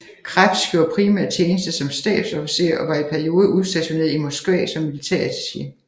Krebs gjorde primært tjeneste som stabsofficer og var i perioder udstationeret i Moskva som militærattaché